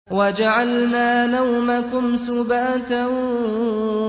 وَجَعَلْنَا نَوْمَكُمْ سُبَاتًا